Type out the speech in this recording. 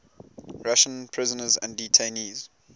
russian prisoners and detainees